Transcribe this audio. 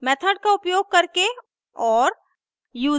method का उपयोग करके और